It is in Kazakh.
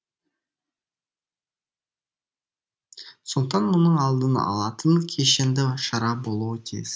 сондықтан мұның алдын алатын кешенді шара болуы тиіс